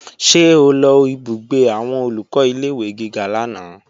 Ṣé o lọ ìbúgbé àwọn Olùkọ́ ilé-ìwé gíga lánàá?